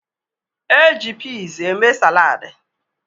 E ji piz eme saladị.